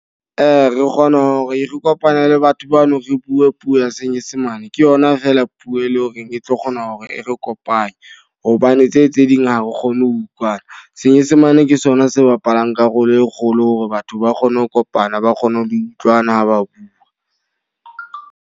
Re kgona hore re kopana le batho bano, re bue puo ya senyesemane. Ke yona fela puo e leng horeng e tlo kgona hore e re kopanye. Hobane tse tse ding ha re kgone ho utlwana. Senyesemane ke sona se bapalang karolo e kgolo hore batho ba kgone ho kopana, ba kgone ho utlwana ha ba bua.